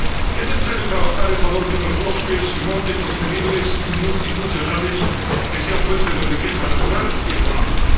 Es necesario trabajar en favor de unos bosques y montes sostenibles y multifuncionales, que sean fuente de riqueza natural y económica.